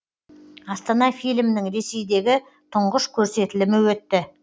астана фильмінің ресейдегі тұңғыш көрсетілімі өтті